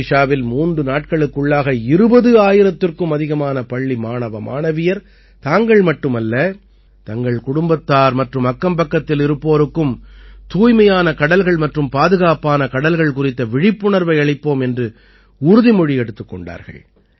ஒடிஷாவில் மூன்று நாட்களுக்குள்ளாக 20000த்திற்கும் அதிகமான பள்ளி மாணவமாணவியர் தாங்கள் மட்டுமல்ல தங்களின் குடும்பத்தார் மற்றும் அக்கம்பக்கத்தில் இருப்போருக்கும் தூய்மையான கடல்கள் மற்றும் பாதுகாப்பான கடல்கள் குறித்த விழிப்புணர்வை அளிப்போம் என்று உறுதிமொழி எடுத்துக் கொண்டார்கள்